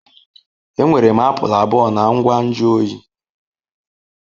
Enwere m apụl abụọ na ngwa nju oyi.